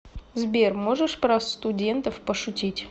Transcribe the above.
сбер можешь про студентов пошутить